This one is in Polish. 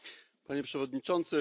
Panie Przewodniczący!